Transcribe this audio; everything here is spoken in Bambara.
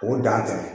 O dan tɛ